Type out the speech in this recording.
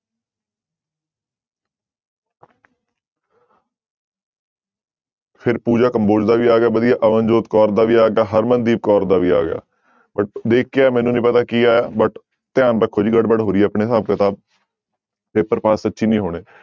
ਫਿਰ ਪੂਜਾ ਕੰਬੋਜ ਦਾ ਵੀ ਆ ਗਿਆ ਵਧੀਆ, ਅਵਨ ਜੋਤ ਕੌਰ ਦਾ ਵੀ ਆ ਗਿਆ, ਹਰਮਨਦੀਪ ਕੌਰ ਦਾ ਵੀ ਆ ਗਿਆ but ਦੇਖਿਆ ਮੈਨੂੰ ਨੀ ਪਤਾ ਕੀ ਆਇਆ but ਧਿਆਨ ਰੱਖੋ ਜੀ ਗੜਬੜ ਹੋ ਰਹੀ ਆਪਣੇ ਹਿਸਾਬ ਕਿਤਾਬ ਪੇਪਰ ਪਾਸ ਸੱਚੀ ਨੀ ਹੋਣੇ।